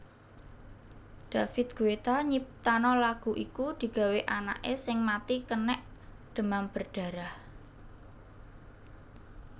David Guetta nyiptano lagu iku digawe anake sing mati kenek demam berdarah